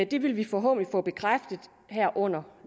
det vil vi forhåbentlig få bekræftet her under